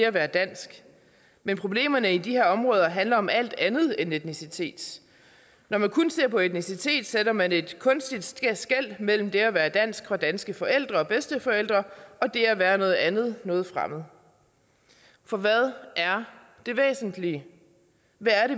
at være dansk men problemerne i de her områder handler om alt andet end etnicitet når man kun ser på etnicitet sætter man et kunstigt skel mellem det at være dansk og danske forældre og bedsteforældre og det at være noget andet noget fremmed for hvad er det væsentlige hvad